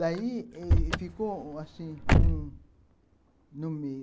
Daí ih ficou assim um no meio.